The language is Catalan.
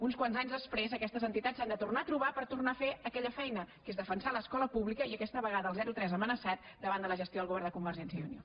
uns quants anys després aquestes entitats s’han de tornar a trobar per tornar a fer aquella feina que és defensar l’escola pública i aquesta vegada el zero tres amenaçat davant de la gestió del govern de convergència i unió